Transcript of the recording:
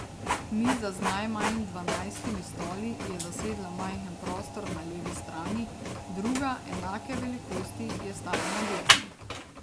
Miza z najmanj dvanajstimi stoli je zasedla majhen prostor na levi strani, druga, enake velikosti, je stala na desni.